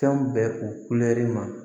Fɛn bɛɛ u kulɛri ma